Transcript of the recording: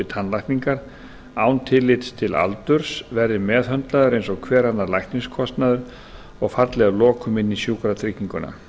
tannlækningar án tillits til aldurs verði meðhöndlaður eins og annar lækniskostnaður og falli að lokum inn í sjúkratrygginguna